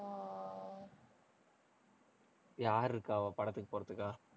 யார் இருக்காவா, படத்துக்கு போறதுக்கா?